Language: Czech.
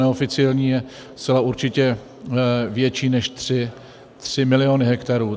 Neoficiální je zcela určitě větší než 3 miliony hektarů.